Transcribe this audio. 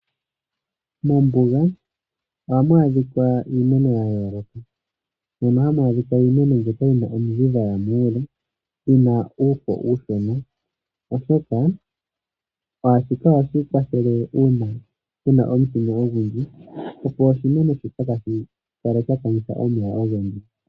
Mombuga ohamu adhikwa iimeno yayoloka. Mono hamu adhikwa iimeno mbyono yomiidhi dhaya muule yina uufo uushona, oshoka shika ohashi kwathele una kuna omutenya ogundji. Opo oshimeno shoka kashi kale sha kanitha omeya ogendji.